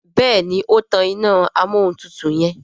Béèni o tán iná Amóhuntutù yen.